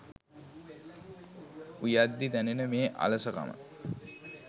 උයද්දි දැනෙන මේ අලසකම